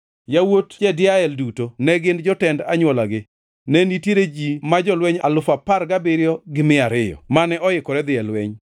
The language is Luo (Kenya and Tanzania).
Yawuot Jediael duto ne gin jotend anywolagi. Ne nitiere ji ma jolweny alufu apar gabiriyo gi mia ariyo (17,200) mane oikore dhi e lweny.